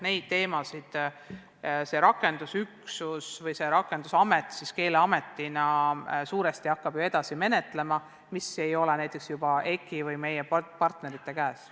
Keeleamet hakkab rakendusüksusena edaspidi koordineerima neid teemasid, mis ei ole näiteks juba EKI või meie partnerite käes.